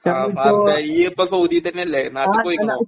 പാറസ്സേ ഇയ്യിപ്പൊ സൗദി തന്നല്ലെ നാട്ടിക്ക് പോയ്ക്കുണോ.